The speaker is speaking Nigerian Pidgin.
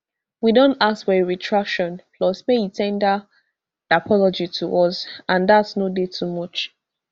we don ask for a retraction plus make e ten der apology to us and dat no dey too much